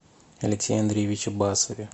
алексее андреевиче басове